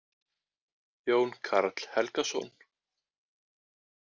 Jón Karl Helgason.